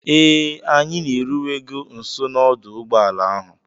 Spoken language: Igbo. Ee, anyị na-eruwego nso n'ọdụ ụgbọ ala ahụ